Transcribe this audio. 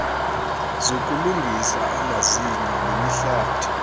zokulungisa amazinyo nemihlathi